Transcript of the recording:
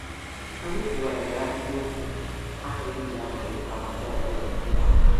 Anyị kwughariri ahịrịokwu ahụ e ji amalite akụkọ ọbụla nomenala ha.